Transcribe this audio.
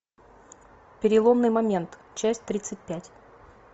переломный момент часть тридцать пять